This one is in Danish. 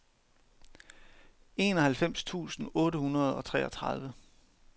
enoghalvfems tusind otte hundrede og treogtredive